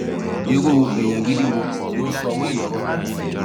irú èèyàn gidi wo ló ń sọrú ẹ lọrọ